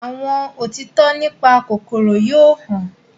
àwọn òtítọ nípa kòkòrò yóò hàn.